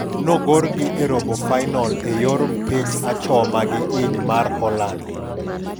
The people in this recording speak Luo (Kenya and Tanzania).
Nogolgi e robofainol e yor mpich achoma gi iny mar Holand.